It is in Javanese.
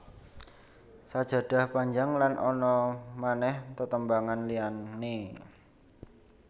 Sajadah Panjang lan ana manèh tetembangan liyané